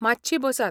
मातशी बसात .